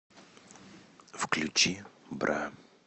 включи бра